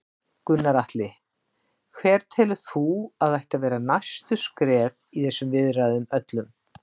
Gunnar Atli: Hver telur þú að ættu að vera næstu skref í þessum viðræðum öllum?